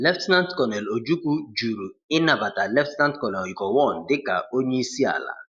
Lt. Col. Ojukwu juru ịnabata Lt. Col Gowon dịka onye isi ala.